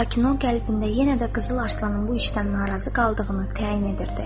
Lakin o, qəlbində yenə də Qızıl Arslanın bu işdən narazı qaldığını təyin edirdi.